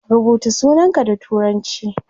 Rubuta sunanka da turanci